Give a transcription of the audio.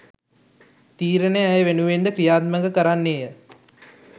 තීරණය ඇය වෙනුවෙන්ද ක්‍රියාත්මක කරන්නේය